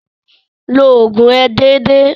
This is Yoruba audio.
Lo ògùn rẹ dédé.